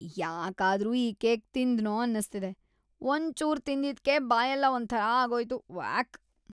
ಯಾಕಾದ್ರೂ ಈ ಕೇಕ್‌ ತಿಂದ್ನೋ ಅನ್ಸ್ತಿದೆ.. ಒಂಚೂರ್ ತಿಂದಿದ್ಕೇ ಬಾಯೆಲ್ಲ ಒಂಥರಾ ಆಗೋಯ್ತು.. ವ್ಯಾಕ್.